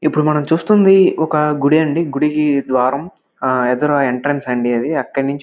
ఇప్పుడు చేస్తుండేది ఒక గుడి అండి. గుడి కి ద్వారం ఆహ్ ఎదురైయ్యే ఎంట్రన్స్ అండి అది .